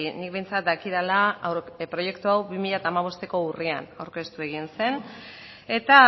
nik behintzat dakidala proiektu hau bi mila hamabosteko urrian aurkeztu egin zen eta